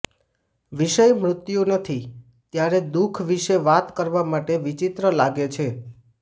વિષય મૃત્યુ નથી ત્યારે દુઃખ વિશે વાત કરવા માટે વિચિત્ર લાગે છે